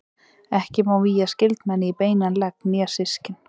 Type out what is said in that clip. Ekki má vígja skyldmenni í beinan legg né systkin.